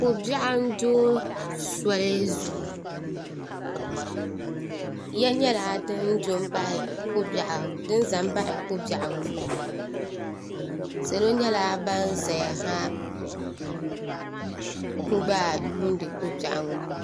ko' biɛɣu n-do soli zuɣu ya nyɛla din za m-baɣi ko' biɛɣu ŋɔ salo nyɛla ban zaya ha n-gba yiuuni ko' biɛɣu ŋɔ